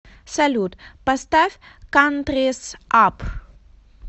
салют поставь кантрис ап